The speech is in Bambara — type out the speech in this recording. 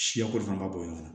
Siyako fana ka bon ɲɔgɔn